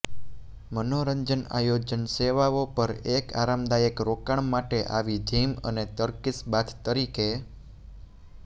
મનોરંજન આયોજન સેવાઓ પર એક આરામદાયક રોકાણ માટે આવી જિમ અને ટર્કીશ બાથ તરીકે